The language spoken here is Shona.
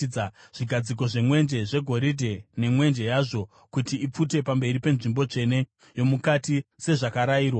zvigadziko zvemwenje zvegoridhe nemwenje yazvo kuti ipfute pamberi penzvimbo tsvene yomukati sezvakarayirwa;